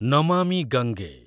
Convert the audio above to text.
Namami Gange